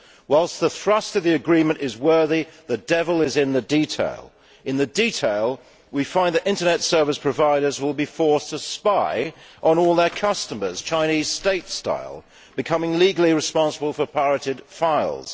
Whilst the thrust of the agreement is worthy, the devil is in the detail. In the detail we find that Internet service providers will be forced to spy on all their customers, Chinese state style, becoming legally responsible for pirated files.